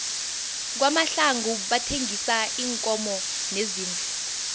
kwamahlangu bathengisa iinkomo neziimvu